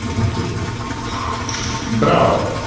в натуре браво